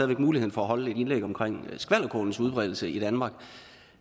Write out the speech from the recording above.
væk muligheden for at holde et indlæg om skvalderkålens udbredelse i danmark